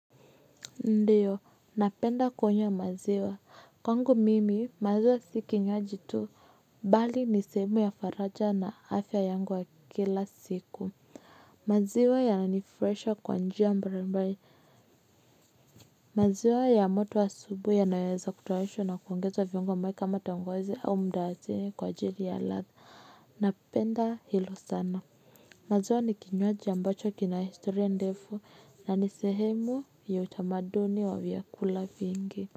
Ndiyo, napenda kunywa maziwa, kwangu mimi, maziwa si kinywaji tu, bali ni sehemu ya faraja na afya yangu wa kila siku, maziwa yananifuraisha kwa njia mbari mbari, maziwa ya moto asubui yanaweza kutayarishwa na kuongeza viungo ambae kama tangawizi au mdalasini kwa ajiri ya ladha, napenda hilo sana. Maziwa ni kinywaji ambacho kina historia ndefu, na ni sehemu ya utamaduni wa vyakula vingi.